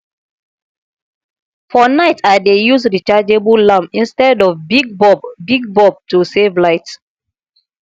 for night i dey use rechargeable lamp instead of big bulb big bulb to save light